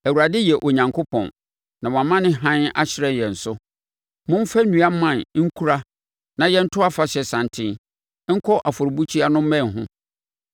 Awurade yɛ Onyankopɔn, na wama ne hann ahyerɛn yɛn so. Momfa nnua mman nkura na yɛnto afahyɛ santen nkɔ afɔrebukyia no mmɛn ho.